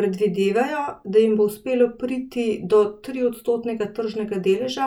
Predvidevajo, da jim bo uspelo priti do triodstotnega tržnega deleža,